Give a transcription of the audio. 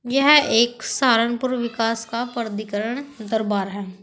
यह एक सहारनपुर विकास का प्राधिकरण दरबार है।